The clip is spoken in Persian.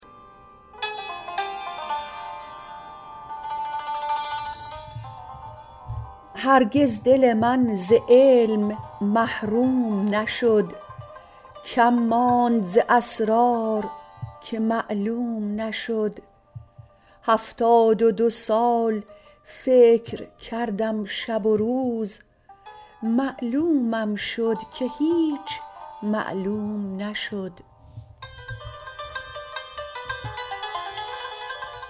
هرگز دل من ز علم محروم نشد کم ماند ز اسرار که معلوم نشد هفتاد و دو سال فکر کردم شب و روز معلومم شد که هیچ معلوم نشد